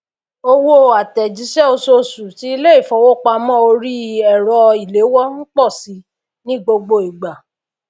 owó àtèjísé osusù ti ilé ìfowópamó orí èrọ ìléwó n pò si ní gbogbo ìgbà